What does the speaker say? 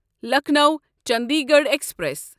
Lucknow Chandigarh express